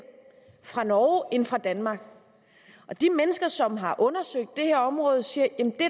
fra norge end fra danmark de mennesker som har undersøgt det her område siger